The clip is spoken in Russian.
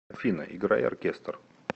афина играй оркестр